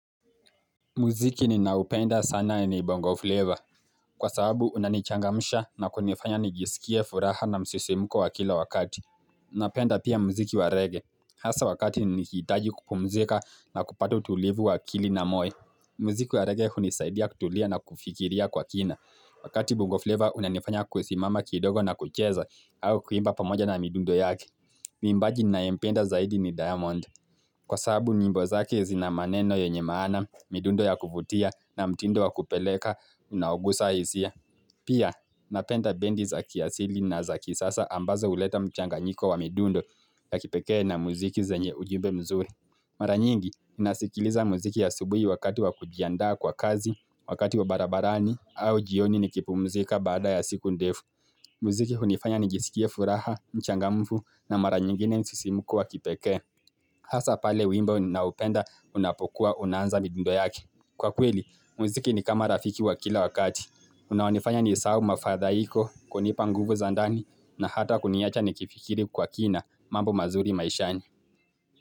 Muziki ninaupenda sana ni bongo flavor. Kwa sababu unanichangamusha na kunifanya nijisikie furaha na msisimuko wa kila wakati. Napenda pia muziki wa reggae. Hasa wakati nikihitaji kupumzika na kupata utulivu wa akili na moyo. Muziki wa reggae hunisaidia kutulia na kufikiria kwa kina. Wakati bongo flavor unanifanya kusimama kidogo na kucheza au kuimba pamoja na midundo yake. Mwimbaji ninayempenda zaidi ni diamond. Kwasababu nyimbo zake zina maneno yenye maana, midundo ya kuvutia na mtindo wa kupeleka, unaogusa hisia. Pia, napenda bendi za kiasili na za kisasa ambazo huleta mchanganyiko wa midundo ya kipekee na muziki zenye ujumbe mzuri. Mara nyingi, nasikiliza muziki ya asubuhi wakati wakujiandaa kwa kazi, wakati wa barabarani, au jioni nikipumuzika baada ya siku ndefu. Muziki hunifanya nijisikie furaha, mchangamfu na mara nyingine msisimuko wa kipekee. Hasa pale wimbo ninao upenda unapokua unaanza midundo yake. Kwa kweli, muziki ni kama rafiki wa kila wakati. Unaonifanya ni sahau mafadhaiko, kunipa nguvu za ndani na hata kuniacha nikifikiri kwa kina mambo mazuri maishani.